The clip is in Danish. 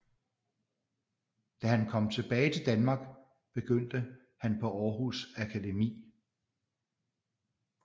Da han kom tilbage til Danmark begyndte han på Århus Akademi